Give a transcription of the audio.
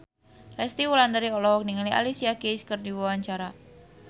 Resty Wulandari olohok ningali Alicia Keys keur diwawancara